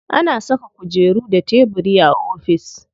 Ana saka kujeru da tebiri a ofis.